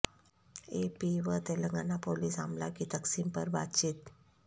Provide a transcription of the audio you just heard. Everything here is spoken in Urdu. اے پی و تلنگانہ پولیس عملہ کی تقسیم پر بات چیت